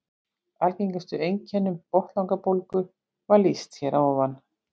Algengustu einkennum botnlangabólgu var lýst hér að ofan.